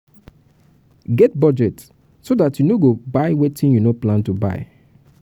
get budget so dat you no go buy wetin you no plan to buy